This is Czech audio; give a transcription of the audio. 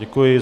Děkuji.